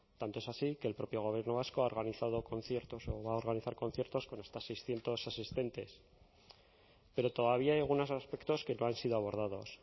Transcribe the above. tanto es así que el propio gobierno vasco ha organizado conciertos o va a organizar conciertos con hasta seiscientos asistentes pero todavía hay algunos aspectos que no han sido abordados